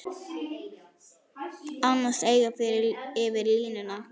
Annars eigin yfir línuna.